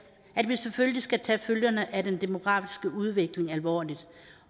at vi selvfølgelig skal tage følgerne af den demografiske udvikling alvorligt